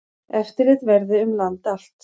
Eftirlit verði um land allt.